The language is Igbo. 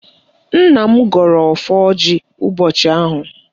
Nna m gọrọ ọfọ ọjị ụbọchị ahụ